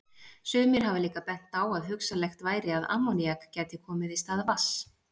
Sumir hafa líka bent á að hugsanlegt væri að ammoníak gæti komið í stað vatns.